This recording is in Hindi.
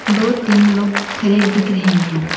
दो तीन लोग खड़े दिख रहे हैं।